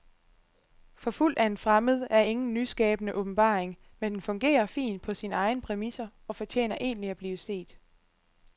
Forfulgt af en fremmed er ingen nyskabende åbenbaring, men den fungerer fint på sine egne præmisser og fortjener egentlig at blive set.